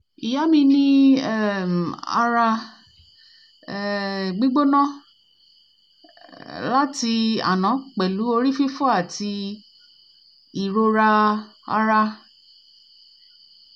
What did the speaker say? ìyá mi ní um ara um gbígbóná um láti àná pẹ̀lú orí fifo àti ìrora ara